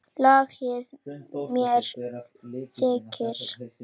LAGI MEÐ ÞIG?